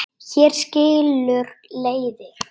Hér skilur leiðir.